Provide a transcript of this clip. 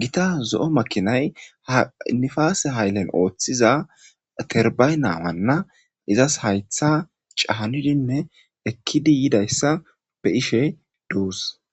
gita zo7o makinay haiifaasee haylen ooththiza terbay naawanna izas haytha cahanidinne ekkidi yidayssa be7ishe doos.